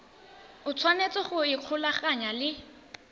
o tshwanetse go ikgolaganya le